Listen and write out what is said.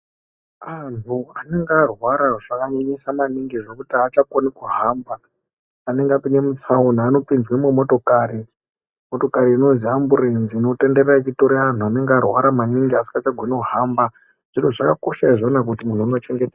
Anhu anenge arwara zvakanyanyisa maningi zvokuti achakoni kuhamba anenge apinde mutsaona anopinzwa mumotokorai inonzi amburenzi inotenderwra ichitore anhu anenge arwara maningi asingachagoni kuhamba. Zvakakosha maningi kuti muntu unoche.